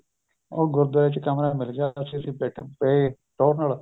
ਉਹ ਗੁਰੁਦਵਾਰੇ ਚ ਕਮਰਾ ਮਿਲ ਗਿਆ ਤਾਂ ਅਸੀਂ ਬੈਠੇ ਅਸੀਂ ਪਏ ਟੋਹਰ ਨਾਲ